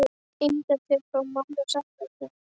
Ímyndaðu þér hvað mamma segði ef hún vissi.